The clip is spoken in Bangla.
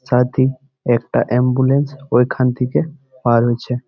সাদ্ধি একটা অ্যাম্বুলেন্স ওইখান থেকে পার হইছে ।